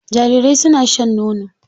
Jarirai suna shan nono.